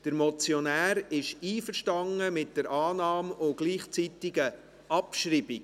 Der Motionär ist einverstanden mit der Annahme und gleichzeitigen Abschreibung.